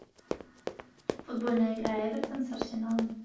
футбольная игра эвертон с арсеналом